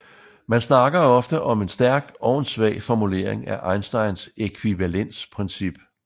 Man snakker ofte om en stærk og en svag formulering af Einsteins ækvivalensprincip